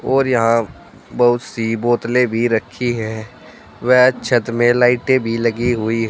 और यहां बहुत सी बोतलें भी रखी हैं व छत में लाइटें भी लगी हुई है।